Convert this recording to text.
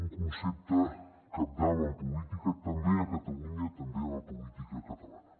un concepte cabdal en política també a catalunya també a la política catalana